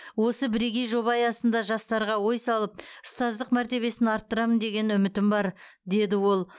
осы бірегей жоба аясында жастарға ой салып ұстаздық мәртебесін арттырамын деген үмітім бар деді ол